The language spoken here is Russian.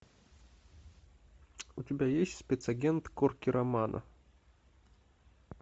у тебя есть спецагент корки романо